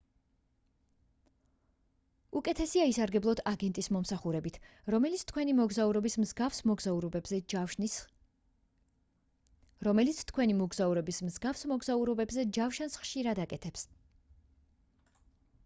უკეთესია ისარგებლოთ აგენტის მომსახურებით რომელიც თქვენი მოგზაურობის მსგავს მოგზაურობებზე ჯავშანს ხშირად აკეთებს